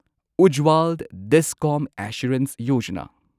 Ujjwal DISCOM assurance Yojana